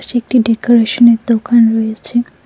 এটি একটি ডেকোরেশনের দোকান রয়েছে।